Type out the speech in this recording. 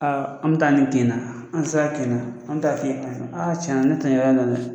Aa an be taa nin kin in na, n'an sera kin na an be taa f'i ye ka fɔ aa tiɲɛ na ne te